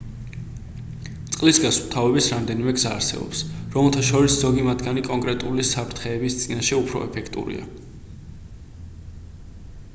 წყლის გასუფთავების რამდენიმე გზა არსებობს რომელთა შორის ზოგი მათგანი კონკრეტული საფრთხეების წინაშე უფრო ეფექტურია